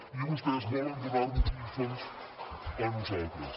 i vostès volen donar nos lliçons a nosaltres